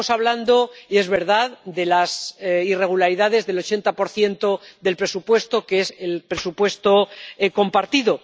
Aquí estamos hablando, y es verdad, de las irregularidades del 80 del presupuesto que es el presupuesto compartido